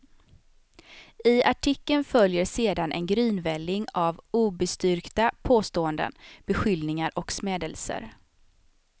I artikeln följer sedan en grynvälling av obestyrkta påståenden, beskyllningar och smädelser.